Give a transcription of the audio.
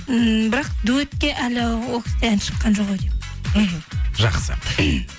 ммм бірақ дуэтке әлі ол кісіде ән шыққан жоқ ау деймін мхм жақсы